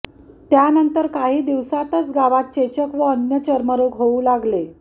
त्यानंतर काही दिवसातच गावात चेचक व अन्य चर्मरोग होऊ लागले